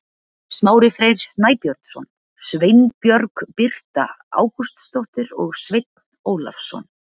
Smári Freyr Snæbjörnsson, Sveinbjörg Birta Ágústsdóttir og Sveinn Ólafsson.